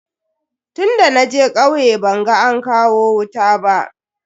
Tunda naje kauye ban ga an kawo wuta ba.